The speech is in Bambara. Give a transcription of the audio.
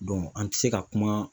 an ti se ka kuma